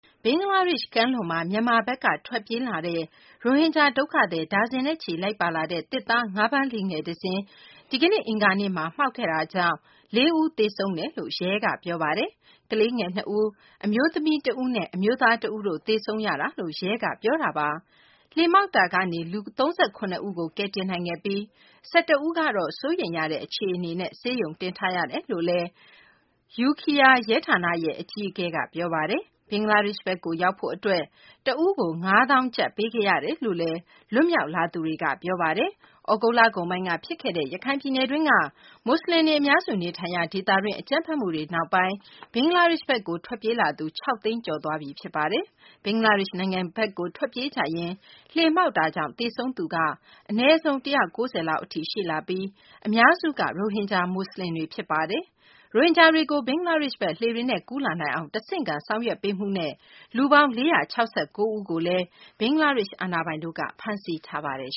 ဘင်္ဂလားဒေရှ့် ကမ်းလွန်မှာ မြန်မာဘက်က ထွက်ပြေးလာတဲ့ ရိုဟင်ဂျာ ဒုက္ခသည် ဒါဇင်နဲ့ချီ လိုက်ပါလာတဲ့ သစ်သား ငါးဖမ်းလှေငယ် တစင်း ဒီကနေ့ အင်္ဂါနေ့မှာ မှောက်ခဲ့တာကြောင့် ၄ ဦး သေဆုံးရကြောင်း ရဲက ပြောပါတယ်။ ကလေးငယ် နှစ်ဦး၊ အမျိုးသမီး တဦးနဲ့ အမျိုးသား တဦးတို့ သေဆုံးခဲ့ရတာလို့ ရဲက ပြောတာပါ။ လှေမှောက်မှုကနေ လူ ၃၇ ဦးကို ကယ်တင်ခဲ့နိုင်ပြီး ၁၁ ဦးကိုတော့ စိုးရိမ်ရတဲ့ အခြေအနေနဲ့ ဆေးရုံတင်ထားရကြောင်း Ukhiya ရဲဌာနရဲ့ အကြီးအကဲ Mohammad Abul Khair က ပြောပါတယ်။ ဘင်္ဂလားဒေရှ့်ဘက်ကို ရောက်ဖို့ အတွက် တဦးကို ၅ သောင်းကျပ် ပေးခဲ့ရတယ်လို့လည်း လွတ်မြောက်လာသူတွေက ပြောပါတယ်။ သြဂုတ်လကုန်ပိုင်းက ဖြစ်ခဲ့တဲ့ ရခိုင်ပြည်နယ်တွင်းက မူဆလင်တွေ အများစု နေထိုင်ရာ ဒေသတွင်း အကြမ်းဖက်မှုတွေနောက်ပိုင်း ဘင်္ဂလားဒေရှ့်ဘက်ကို ထွက်ပြေးလာသူ ၆ သိန်းကျော်သွားပြီ ဖြစ်ပါတယ်။ ဘင်္ဂလားဒေရှ့်နိုင်ငံဘက်ကို ထွက်ပြေးကြရင်း လှေမှောက်တာကြောင့် သေဆုံးသူက အနည်းဆုံး ၁၉၀ လောက်အထိ ရှိလာပြီး အများစုက ရိုဟင်ဂျာ မူဆလင်တွေ ဖြစ်ပါတယ်။ ရိုဟင်ဂျာတွေကို ဘင်္ဂလားဒေရှ့်ဘက် လှေတွေနဲ့ ကူးလာနိုင်အောင် တဆင့်ခံ ဆောင်ရွက်ပေးမှုနဲ့ လူပေါင်း ၄၆၉ ဦးကို ဘင်္ဂလားဒေရှ့် အာဏာပိုင်တို့က ဖမ်းဆီးထားပါတယ်